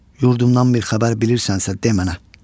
Yurdumdan bir xəbər bilirsənsə demə mənə.